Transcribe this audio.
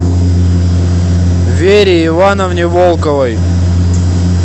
вере ивановне волковой